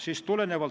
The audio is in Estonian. Suur tänu teile!